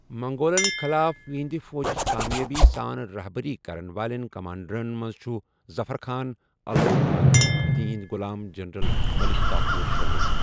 منگولن خلاف یہنٛدِ فوجٕچ کامیٲبی سان رہبری کرن والٮ۪ن کمانڈرن منٛز چھُ ظفر خان، الوغ خان تہٕ یِہنٛدِ غلام جنرل ملک کافور شٲمل۔